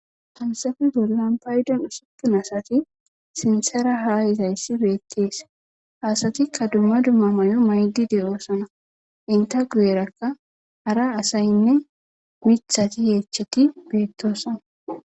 Hayssafe bolla paydon usuppun sinthar haa yizayssi beettees ha asatikka dumma dumma mayo mayidi de7oosona ntta guyerakka hara asaynne mithati yeechati beettoosona.